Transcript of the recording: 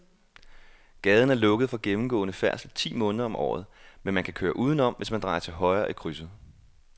Gaden er lukket for gennemgående færdsel ti måneder om året, men man kan køre udenom, hvis man drejer til højre i krydset.